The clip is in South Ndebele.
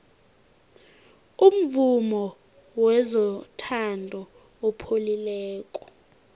umvumo wezothando upholile